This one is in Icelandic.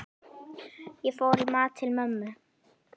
Ég fór í mat til mömmu.